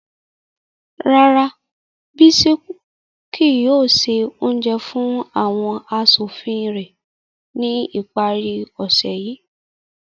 Rara, Bisis kii yoo se ounjẹ fun awọn aṣofin rẹ ni ipari ose yii